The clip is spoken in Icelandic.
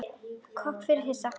Kobbi var yfir sig hissa.